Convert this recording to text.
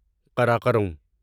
Karakoram